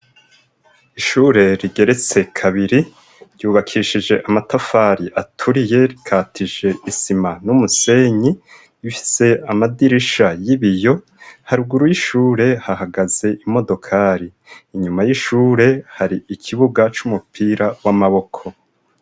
Ishure rigeretse kabiri, ryubakishije amatafari aturiye rikatije n'isima n'umusenyi . Ifise amadirisha y'ibiyo; haruguru y'ishure hahagaze imodokari; inyuma y'ishure hari ikibuga c'umupira w'amaboko.